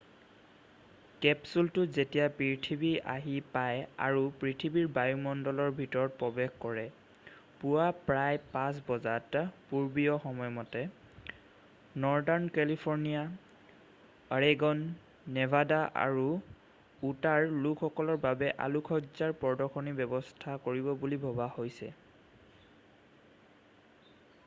কেপচুলটো যেতিয়া পৃথিৱী আহি পায় আৰু পৃথিৱীৰ বায়ুমণ্ডলৰ ভিতৰত প্ৰৱেশ কৰে পুৱা প্ৰায় ৫ বজাত পূৰ্বীয় সময়মতে নৰ্দাৰ্ণ কেলিফৰ্ণিয়া অৰেগন নেভাডা আৰু উটাৰ লোকসকলৰ বাবে আলোকসজ্জাৰ প্ৰদৰ্শনীৰ ব্যৱস্থা কৰিব বুলি ভবা হৈছে।